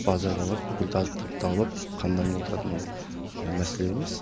базарға барып бүкіл азық түлікті алып қамданып отыратын мәселе емес